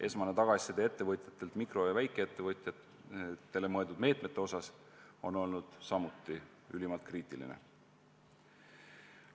Esmane tagasiside, mida ettevõtjad on mikro- ja väikeettevõtjatele suunatud meetmete kohta andnud, on olnud samuti ülimalt kriitiline.